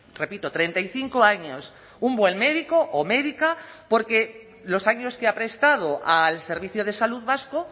repito treinta y cinco años un buen médico o médica porque los años que ha prestado al servicio de salud vasco